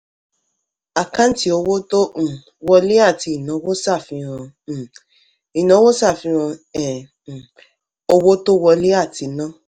àkáǹtì owó tó um wọlé àti ìnáwó sàfihàn um ìnáwó sàfihàn um um owó tó wọlé àti ná.